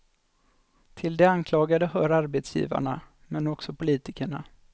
Till de anklagade hör arbetsgivarna, men också politikerna.